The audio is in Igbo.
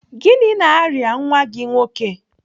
Gịnị na-arịa nwa gị nwoke?